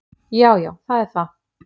Já, já, það er það!